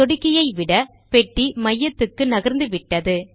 சொடுக்கியை விட பெட்டி மையத்துக்கு நகர்ந்துவிட்டது